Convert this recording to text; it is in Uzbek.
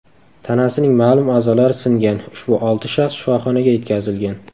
Tanasining ma’lum a’zolari singan ushbu olti shaxs shifoxonaga yetkazilgan.